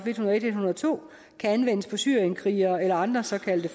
to kan anvendes på syrienskrigere eller andre såkaldte